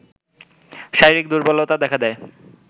শারীরিক দুর্বলতা দেখা দেয়